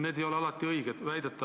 Need ei ole väidetavalt alati õiged.